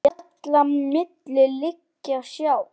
Fjalla milli liggja sá.